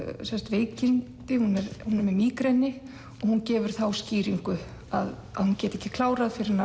veikindi hún er með mígreni og hún gefur þá skýringu að hún geti ekki klárað fyrr en